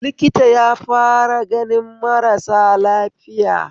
Likita yafara ganin marasa lafiya